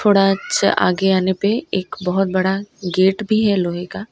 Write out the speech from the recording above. थोड़ा अच्छा आगे आने पे एक बहोत बड़ा गेट भीं हैं लोहे का।